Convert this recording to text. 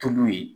Tobi yen